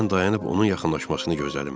Mən dayanıb onun yaxınlaşmasını gözlədim.